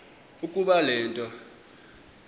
ukuba le nto